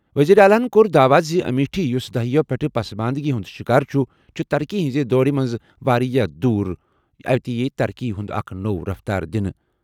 وزیر اعلیٰ یَن کوٚر دعویٰ زِ امیٹھی، یُس دہائیو پٮ۪ٹھ پسماندگی ہُنٛد شکار چھُ تہٕ چُھ ترقی ہٕنٛز دوڑِ منٛز واریاہ دوٗر، اَتہِ ترقی ہٕنٛز اکھ نٔو رفتار دِنہٕ۔